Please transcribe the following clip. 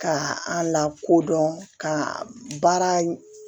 Ka a lakodɔn ka baara